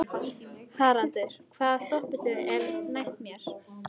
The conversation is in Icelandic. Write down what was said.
Haraldur, hvaða stoppistöð er næst mér?